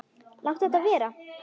Láttu þetta vera!